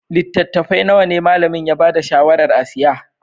Littattafai nawa ne malamin ya ba da shawarar a siya?